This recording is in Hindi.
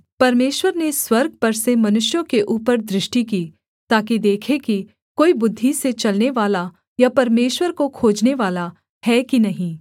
परमेश्वर ने स्वर्ग पर से मनुष्यों के ऊपर दृष्टि की ताकि देखे कि कोई बुद्धि से चलनेवाला या परमेश्वर को खोजनेवाला है कि नहीं